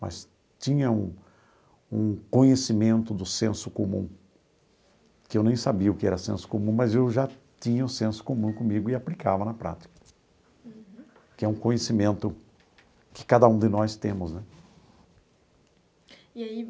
mas tinha um um conhecimento do senso comum, que eu nem sabia o que era senso comum, mas eu já tinha o senso comum comigo e aplicava na prática, que é um conhecimento que cada um de nós temos né. E aí